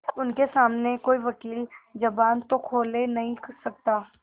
उनके सामने कोई वकील जबान तो खोल नहीं सकता